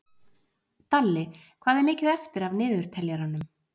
Dalli, hvað er mikið eftir af niðurteljaranum?